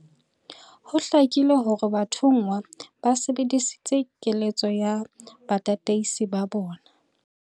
Ho hlakile hore bathonngwa ba sebedisitse keletso ya batataisi ba bona.